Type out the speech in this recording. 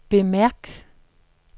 bemærk